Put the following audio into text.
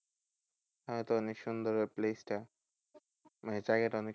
তাহলে তো অনেক সুন্দর ওই places টা, মানে জায়গাটা